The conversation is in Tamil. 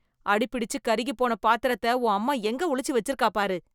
அடிபிடிச்சு கருகிப் போன பாத்திரத்த, உன் அம்மா எங்க ஒளிச்சு வெச்சிருக்காப் பாரு..